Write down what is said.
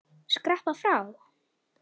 Skreppa frá?